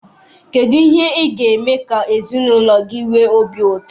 Kedu ihe ị ga-eme ka ezinụlọ gị nwee obi ụtọ?